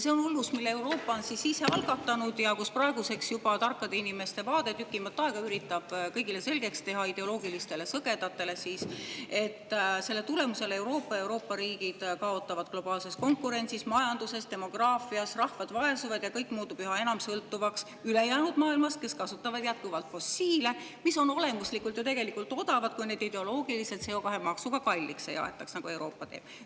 See on hullus, mille Euroopa on ise algatanud ja kus praeguseks üritavad targad inimesed juba tükimat aega kõigile, ideoloogilistele sõgedatele siis, selgeks teha oma vaadet, et selle tulemusel kaotavad Euroopa ja Euroopa riigid globaalses konkurentsis, majanduses ja demograafias, rahvas vaesub ning kõik muutub üha enam sõltuvaks ülejäänud maailmast, kus kasutatakse jätkuvalt fossiil, mis on olemuslikult ju tegelikult odavad, kui neid ideoloogiliselt CO2-maksuga kalliks ei aetaks, nagu Euroopa teeb.